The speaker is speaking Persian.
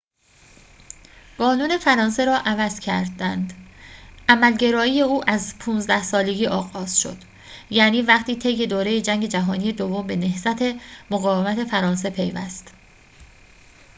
قانون فرانسه را عوض کردند عمل‌گرایی او از ۱۵ سالگی آغاز شد یعنی وقتی طی دوره جنگ جهانی دوم به نهضت مقاومت فرانسه پیوست